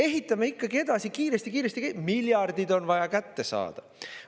Ehitame ikkagi edasi kiiresti-kiiresti, miljardid on vaja kätte saada.